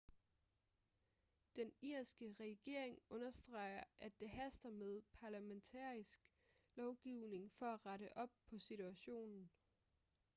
den irske regering understreger at det haster med parlamentarisk lovgivning for at rette op på situationen